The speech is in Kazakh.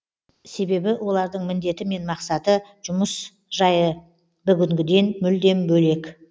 себебі олардың міндеті мен мақсаты жұмыс жайы бүгінгіден мүлдем бөлек